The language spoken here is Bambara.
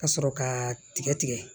Ka sɔrɔ ka tigɛ tigɛ